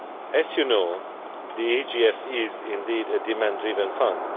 As you know, the EGF is indeed a demand driven fund.